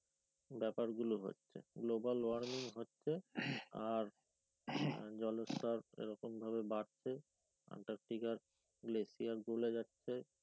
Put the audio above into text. ব্যাপারগুলো হচ্ছে global warming হচ্ছে আর জলস্তর এরকম ভাবে বাড়ছে আন্টার্কটিকার glacier গলে যাচ্ছে।